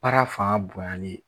Baara fanga bonyali ye